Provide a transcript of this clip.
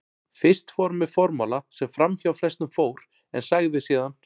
Fyrst fór hann með formála sem framhjá flestum fór, en sagði síðan